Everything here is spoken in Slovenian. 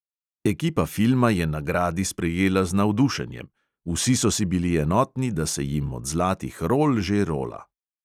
Ekipa filma je nagradi sprejela z navdušenjem – vsi so si bili enotni, da se jim od zlatih rol že rola.